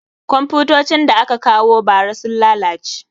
Komfutocin da aka kawo ba ra sun lalace